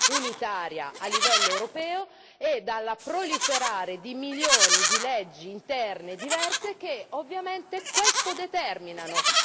unitaria a livello europeo e dal proliferare di milioni di leggi interne diverse, che ovviamente questo determinano.